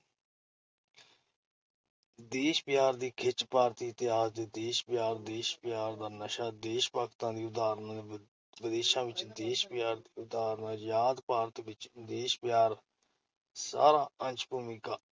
ਦੇਸ਼ ਪਿਆਰ ਦੀ ਖਿੱਚ, ਭਾਰਤੀ ਇਤਿਹਾਸ ਤੇ ਦੇਸ਼ ਪਿਆਰ, ਦੇਸ਼ ਪਿਆਰ ਦਾ ਨਸ਼ਾ, ਦੇਸ਼ ਭਗਤਾਂ ਦੀਆਂ ਉਦਾਹਰਨਾਂ, ਵਿਦੇਸ਼ਾਂ ਵਿੱਚ ਦੇਸ਼ ਪਿਆਰ ਦੀ ਉਦਾਹਰਨ, ਅਜ਼ਾਦ ਭਾਰਤ ਵਿੱਚ ਦੇਸ਼ ਪਿਆਰ, ਸਾਰ- ਅੰਸ਼, ਭੂਮਿਕਾ